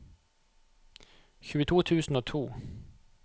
tjueto tusen og to